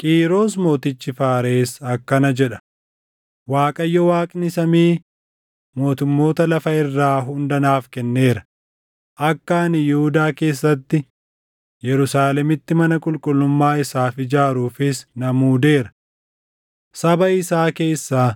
“Qiiros mootichi Faares akkana jedha: “‘ Waaqayyo Waaqni samii mootummoota lafa irraa hunda naaf kenneera; akka ani Yihuudaa keessatti Yerusaalemitti mana qulqullummaa isaaf ijaaruufis na muudeera. Saba isaa keessaa